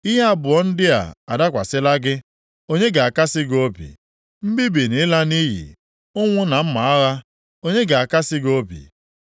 Ihe abụọ ndị a adakwasịla gị. Onye ga-akasị gị obi? Mbibi na ịla nʼiyi, ụnwụ na mma agha, onye ga-akasị gị obi?